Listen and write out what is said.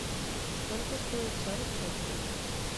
сколько стоит сорок шекелей